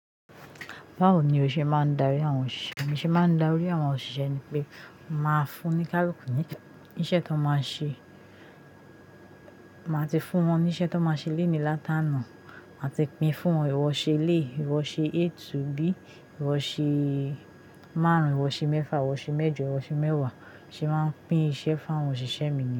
Báwo ni o ṣe máa ń darí àwọn òṣìṣẹ́? Bi mo ṣe máa ń darí àwọn òṣìṣẹ́ ni pé màá fún onikaluku nì iṣẹ́ tó máa ṣe. Màá ti fún wọn ní iṣẹ́ tó máa ṣe léèní látaàná. Màá ti pín fún wọn, ìwọ ṣe eleyi, ìwọ ṣe A to B, ìwọ ṣe márùn-ún, ìwọ ṣe mẹ́fà, ìwọ ṣe mẹ́jọ, ìwọ ṣe mẹ́wàá. Bi mo se máa ń pín iṣẹ́ fún àwọn òṣìṣẹ́ mi ni?